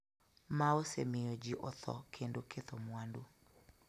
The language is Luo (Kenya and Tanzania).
ma osemiyo ji otho kendo ketho mwandu,